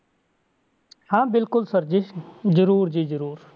ਹਾਂ ਬਿਲਕੁਲ sir ਜੀ ਜ਼ਰੂਰ ਜੀ ਜ਼ਰੂਰ।